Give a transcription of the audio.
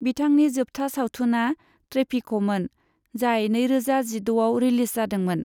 बिथांनि जोबथा सावथुनआ 'ट्रेफिक'मोन, जाय नैरोजा जिद'आव रिलिज जादोंमोन।